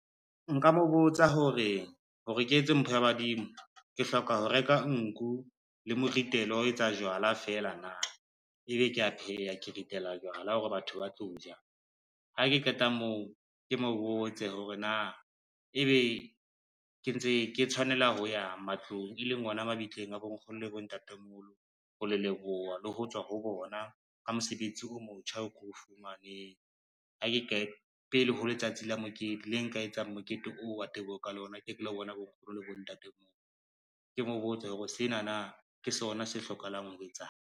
Nka mo botsa hore, hore ke etse mpho ya badimo, ke hloka ho reka nku le moritelo wa ho etsa jwala fela na, ebe kea pheha, ke ritela jwala hore batho ba tlo ja. Ha ke qeta moo, ke mo botse hore na ebe ke ntse ke tshwanela ho ya matlong, e leng ona mabitleng a bonkgono le bontatemoholo ho le leboha le ho tswa ho bona ka mosebetsi o motjha o ko fumaneng pele ho letsatsi le nka etsang mokete oo wa teboho ka lona, ke ke lo bona bonkgono le bontatemoholo, ke mo botse hore senana ke sona se hlokahalang ho etsahala.